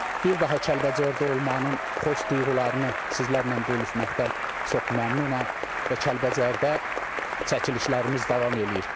Bir daha Kəlbəcərdə olmanın xoş duyğularını sizlərlə bölüşməkdən çox məmnunam və Kəlbəcərdə çəkilişlərimiz davam eləyir.